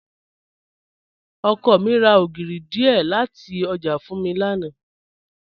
Ọkọ mi ra ogírì díẹ́ lati ọjà fún mi lánà.